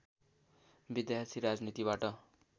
विद्यार्थी राजनीतिबाट